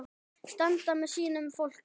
Standa með sínu fólki.